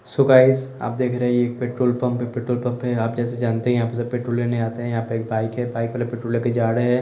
सो guys आप देख रहे है यह एक पेट्रोल पंप है पेट्रोल पंप है आप जैसा जानते है यहाँं सब पेट्रोल लेने आते है यहाँं पे एक बाइक है बाइक वाला पेट्रोल लेके जा रहे है।